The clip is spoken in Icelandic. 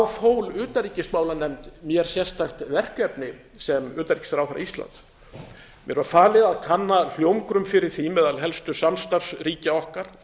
fól utanríkismálanefnd mér sérstakt verkefni sem utanríkisráðherra íslands mér var falið að kanna hljómgrunn fyrir því meðal helstu samstarfsríkja okkar